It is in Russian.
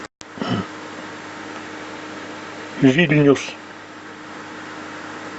вильнюс